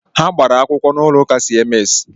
Ha gbàrà akwụkwọ n'ụlọ ụka siemensi